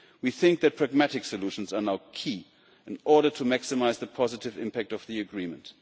We think that pragmatic solutions are now key in order to maximise the positive impact of the Agreement.